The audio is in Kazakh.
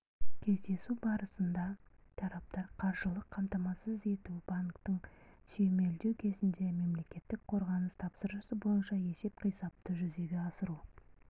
кездесу барысында тараптар қаржылық қамтамасыз ету банктік сүйемелдеу кезінде мемлекеттік қорғаныс тапсырысы бойынша есеп-қисапты жүзеге асыру